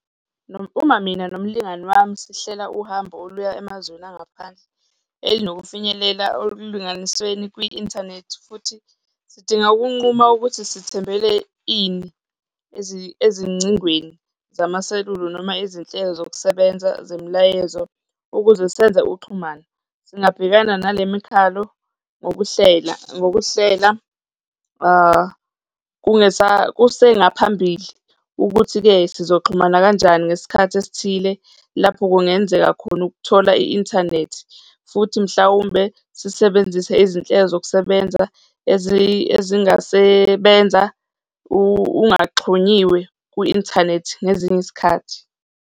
Uma mina nomlingani wami sihlela uhambo oluya emazweni angaphandle elinokufinyelela ekulinganisweni kwi-inthanethi futhi sidinga ukunquma ukuthi sithembele ini, ezingcingweni zamaselula noma izinhlelo zokusebenza zemilayezo ukuze senze uxhumano. Singabhekana nale mikhalo ngokuhlela, ngokuhlela kusengaphambili ukuthi-ke sizoxhumana kanjani ngesikhathi esithile lapho kungenzeka khona ukuthola i-inthanethi futhi mhlawumbe sisebenzise izinhlelo zokusebenza ezingasebenza ungaxhunyiwe kwi-inthanethi ngezinye izikhathi.